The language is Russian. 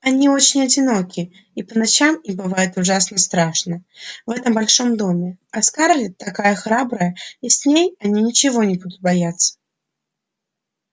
они очень одиноки и по ночам им бывает ужасно страшно в этом большом доме а скарлетт такая храбрая и с ней они ничего не будут бояться